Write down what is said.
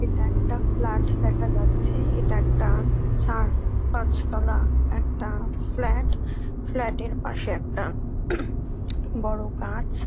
এটা একটা ফ্ল্যাট দেখা যাচ্ছে। এটা একটা চার পাঁচতলা একটা ফ্ল্যাট । ফ্ল্যাট এর পাশে একটা বড় গাছ।